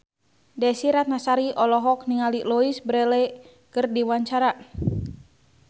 Desy Ratnasari olohok ningali Louise Brealey keur diwawancara